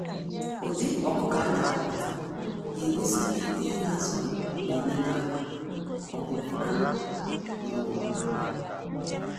Ụdị ọkụkọ a na ahọpụta ga egosi ihe onye na azụ ha na enedo anya, ọ bu anụ maọbu akwa.